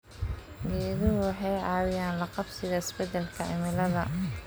Geeduhu waxay caawiyaan la qabsiga isbeddelka cimilada.